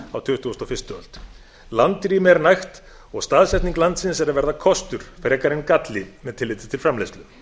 á tuttugustu og fyrstu öld landrými er nægt og staðsetning landsins er að verða kostur frekar en galli með tilliti til framleiðslu